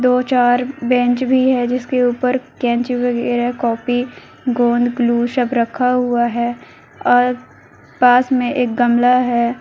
दो चार बेंच भी है जिसके ऊपर कैंची वगैरा कॉपी गोंद ग्लू सब रखा हुआ है और पास में एक गमला है।